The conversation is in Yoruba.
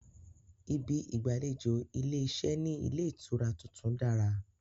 Ibi ìgbàlejò ilé-iṣẹ́ ní ilé ìtura tuntun dára